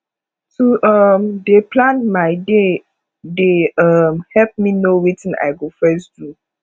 to um dey plan my day dey um help me know wetin i go first do